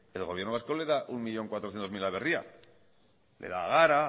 el gobierno vasco le da un millón cuatrocientos mil a berria le da a gara